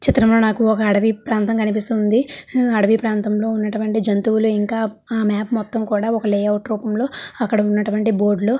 ఈ చిత్రం లో నాకు ఒక అడవి ప్రాంతం కనిపిస్తుంది హు అడవి ప్రాంతం లో ఉన్నటువంటి జంతువులు ఇంకా ఆ మ్యాప్ మొత్తం కూడా ఒక లేఔట్ రూపం లో అక్కడ ఉన్నటు వంటి బోర్డు లో --.